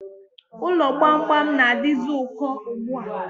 Ụlọ gbamgbam na-adizi ụkọ ugbua